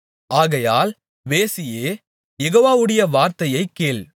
ஆகையால் வேசியே யெகோவாவுடைய வார்த்தையைக் கேள்